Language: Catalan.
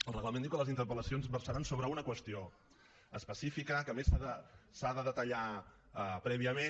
el reglament diu que les interpel·lacions han de versar sobre una qüestió específica que a més s’ha de detallar prèviament